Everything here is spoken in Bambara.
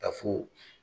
Ka fo